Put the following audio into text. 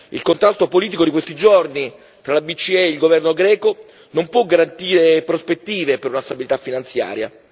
Il contatto politico di questi giorni fra la BCE e il governo greco non può garantire prospettive per una stabilità finanziaria.